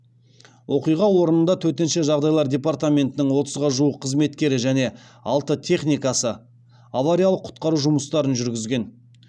оқиға орнында төтенше жағдайлар департаментінің отызға жуық қызметкері және алты техникасы авариялық құтқару жұмыстарын жүргізген